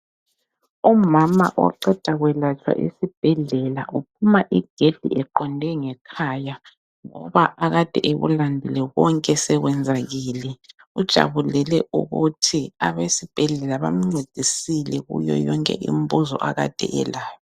Umama oqeda kwelatshwa esibhedlela uphuma igedi eqonde ngekhaya ngoba akade ekulandile konke sekwenzakele. Ujabulele ukuthi Abesibhedlela bamncedisile kuyoyonke imibuzo akade elayo.